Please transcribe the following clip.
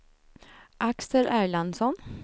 Axel Erlandsson